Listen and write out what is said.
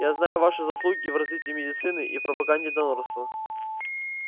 я знаю ваши заслуги в развитии медицины и в пропаганде донорства